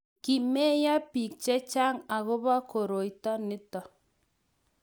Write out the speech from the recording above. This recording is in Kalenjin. kimeiyo biik che chang akobo koroito nito